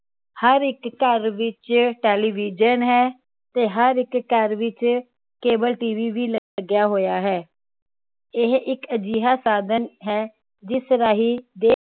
ਹਰ ਇੱਕ ਘਰ ਵਿਚ ਟੈਲੀਵਿਜ਼ਨ ਹੈ ਤੇ ਹਰ ਇੱਕ ਘਰ ਵਿਚ ਕੇਬਲ ਟੀਵੀ ਵੀ ਲੱਗਿਆ ਹੋਇਆ ਹੈ ਇਹ ਇਕ ਅਜਿਹਾ ਸਾਧਨ ਹੈ ਜਿਸ ਰਾਹੀ ਦੇਸ਼